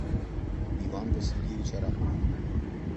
иван васильевич арапов